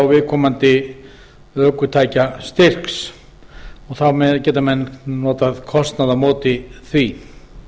viðkomandi ökutækjastyrks þá geta menn notað kostnað á móti því